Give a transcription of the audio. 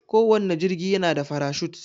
Kowanne jigi yana da farashut.